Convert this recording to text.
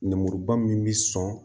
Nɛmuruba min bi sɔn